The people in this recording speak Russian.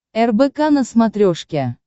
рбк на смотрешке